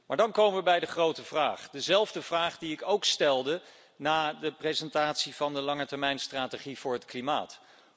Maar dan komen we bij de grote vraag, dezelfde vraag die ik ook stelde na de presentatie van de langetermijnstrategie voor het klimaat.